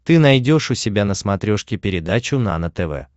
ты найдешь у себя на смотрешке передачу нано тв